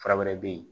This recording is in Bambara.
Fura wɛrɛ bɛ yen